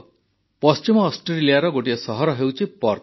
ପଶ୍ଚିମ ଅଷ୍ଟ୍ରେଲିଆର ଗୋଟିଏ ସହର ହେଉଛି ପର୍ଥ